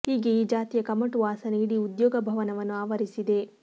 ಹೀಗೆ ಈ ಜಾತಿಯ ಕಮಟು ವಾಸನೆ ಇಡೀ ಉದ್ಯೋಗ ಭವನವನ್ನು ಆವರಿಸಿದೆ